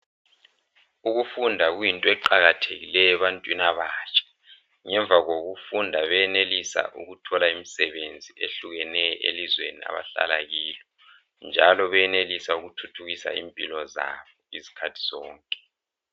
Ukufunda kuyinto eqakathekileyo ebantwini abatsha. Ngemva kokufunda benelisa ukuthola imsebenzi ehlukeneyo elizweni abahlala kulo. Njalo benelisa ukuthuthukisa impilo zabo izikhathi zonke.